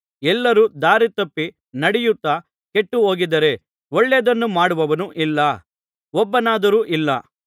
ಎಲ್ಲರೂ ದಾರಿತಪ್ಪಿ ನಡೆಯುತ್ತಾ ಕೆಟ್ಟುಹೋಗಿದ್ದಾರೆ ಒಳ್ಳೆಯದನ್ನು ಮಾಡುವವನು ಇಲ್ಲ ಒಬ್ಬನಾದರೂ ಇಲ್ಲ